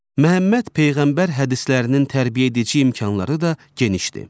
Məhəmməd Peyğəmbər hədislərinin tərbiyəedici imkanları da genişdir.